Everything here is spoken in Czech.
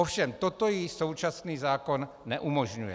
Ovšem toto jí současný zákon neumožňuje.